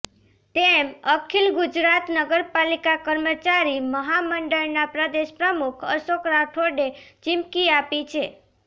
તેમ અખિલ ગુજરાત નગરપાલિકા કર્મચારી મહામંડળના પ્રદેશ પ્રમુખ અશોક રાઠોડે ચિમકી આપી છે